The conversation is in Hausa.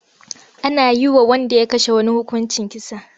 Ana yi wa wanda ya kashe wani hukuncin kisa.